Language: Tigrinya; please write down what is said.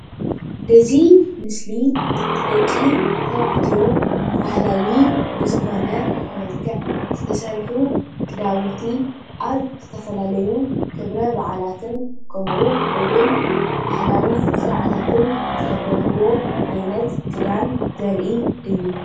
እዚ ምስሊ ደቂ ተባዕትዮ ባህላዊ ብዝኮኑ መልክዕ ክዳውንቲ ዝተሰርሑ ኣብ ዝተፈላለየ ክብረ ባዓላትን ስርዓታትን ዝክደንዎ ዓይነት ክዳን ዘርኢ እዩ፡፡